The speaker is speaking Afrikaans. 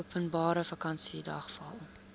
openbare vakansiedag val